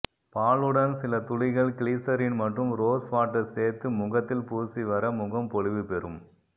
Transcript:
பாலுடன் சில துளிகள் கிளிசரின் மற்றும் ரோஸ் வாட்டர் சேர்த்து முகத்தில் பூசி வர முகம் பொலிவு பெரும்